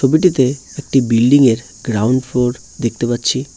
টিতে একটি বিল্ডিংয়ের গ্রাউন্ড ফ্লোর দেখতে পাচ্ছি।